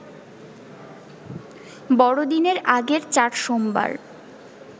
বড়দিনের আগের চার সোমবার